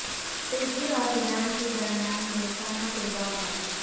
ترکی اور ایران کے درمیان دوستانہ فٹ بال میچ